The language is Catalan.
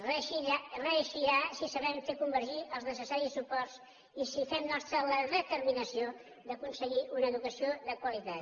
reeixirà si sabem fer convergir els necessaris suports i si fem nostra la determinació d’aconseguir una educació de qualitat